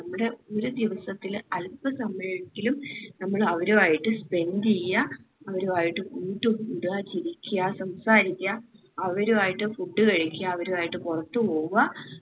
നമ്മുടെ ഒരു ദിവസത്തില് അൽപ സമയെങ്കിലും നമ്മൾ അവരു ആയിട്ട് spend എയ്യാ അവരു ആയിട്ട് കൂട്ട് കൂടുക ചിരിക്ക സംസാരിക്ക അവരു ആയിട്ട് food കഴിക്കാ അവരു ആയിട്ട്പൊറത്തു പോവുക